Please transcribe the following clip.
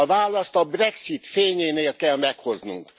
A választ a brexit fényénél kell meghoznunk.